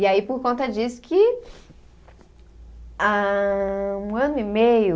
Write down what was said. E aí por conta disso que há um ano e meio